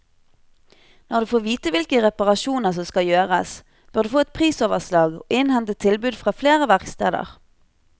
Når du får vite hvilke reparasjoner som skal gjøres, bør du få et prisoverslag og innhente tilbud fra flere verksteder.